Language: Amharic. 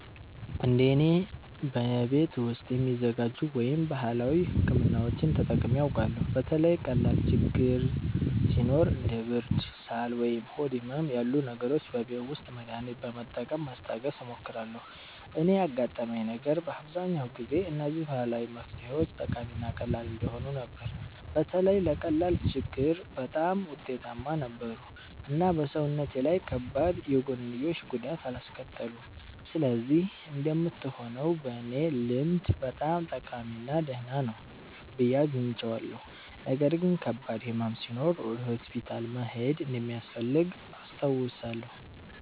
እንደ እኔ፣ በቤት ውስጥ የሚዘጋጁ ወይም ባህላዊ ሕክምናዎችን ተጠቅሜ አውቃለሁ። በተለይ ቀላል ችግኝ ሲኖር እንደ ብርድ፣ ሳል ወይም ሆድ ህመም ያሉ ነገሮች በቤት ውስጥ መድሃኒት በመጠቀም ማስታገስ እሞክራለሁ። እኔ ያጋጠመኝ ነገር በአብዛኛው ጊዜ እነዚህ ባህላዊ መፍትሄዎች ጠቃሚ እና ቀላል እንደሆኑ ነበር። በተለይ ለቀላል ችግኝ በጣም ውጤታማ ነበሩ እና በሰውነቴ ላይ ከባድ የጎንዮሽ ጉዳት አላስከተሉም። ስለዚህ እንደምትሆነው በእኔ ልምድ በጣም ጠቃሚ እና ደህና ነው ብዬ አግኝቼዋለሁ። ነገር ግን ከባድ ሕመም ሲኖር ወደ ሆስፒታል መሄድ እንደሚያስፈልግ አስታውሳለሁ።